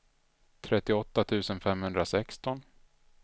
trettioåtta tusen femhundrasexton